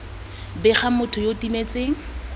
bega motho yo o timetseng